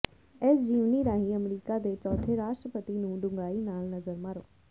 ਇਸ ਜੀਵਨੀ ਰਾਹੀਂ ਅਮਰੀਕਾ ਦੇ ਚੌਥੇ ਰਾਸ਼ਟਰਪਤੀ ਨੂੰ ਡੂੰਘਾਈ ਨਾਲ ਨਜ਼ਰ ਮਾਰੋ